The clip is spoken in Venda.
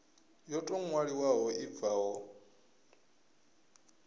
yo tou ṅwaliwaho i bvaho